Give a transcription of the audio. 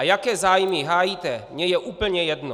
A jaké zájmy hájíte, je mi úplně jedno!